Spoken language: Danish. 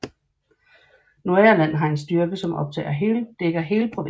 Nordirland har en styrke som dækker hele provinsen